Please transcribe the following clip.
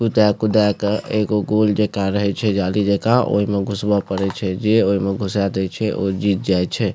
कूदे-कूदे के एगो गोल जाका रहे छै जाली जाका ओय मे घुसबे पड़े छै जे ओय मे घुसे दे छै ओ जीत जाय छै।